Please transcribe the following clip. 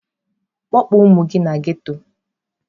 Kpọpụ ụmụ gị na ghetto!.